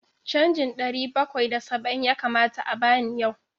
Canjin ɗari bakwai da saba'in ya kamata a ba ni yau.